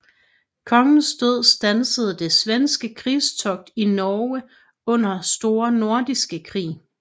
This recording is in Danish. Kongens død standsede det svenske krigstogt i Norge under Store Nordiske Krig